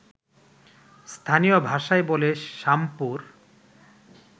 স্থানীয় ভাষায় বলে শামপুর